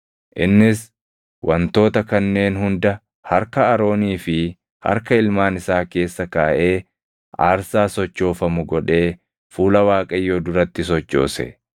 Innis wantoota kanneen hunda harka Aroonii fi harka ilmaan isaa keessa kaaʼee aarsaa sochoofamu godhee fuula Waaqayyoo duratti sochoose.